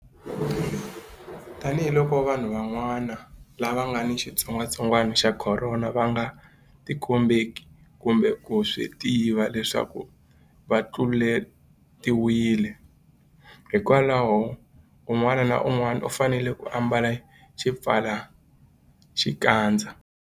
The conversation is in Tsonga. Tanihiloko vanhu van'wana lava nga ni xitsongwantsongwana xa Khorona va nga tikombeki kumbe ku swi tiva leswaku va tluletiwile, hikwalaho un'wana na un'wana u fanele ku ambala xipfalaxikandza.